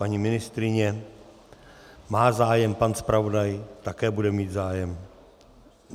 Paní ministryně má zájem, pan zpravodaj také bude mít zájem.